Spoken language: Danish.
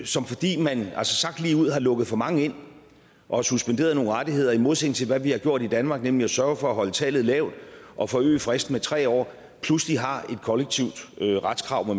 som fordi man sagt ligeud har lukket for mange ind og suspenderet nogle rettigheder i modsætning til hvad vi har gjort i danmark nemlig at sørge for at holde tallet lavt og forøge fristen med tre år pludselig har et kollektivt retskrav